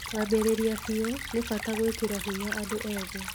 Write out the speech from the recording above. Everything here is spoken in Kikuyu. Kũambĩrĩria biũ, nĩ bata gwĩkĩra hinya andũ ethĩ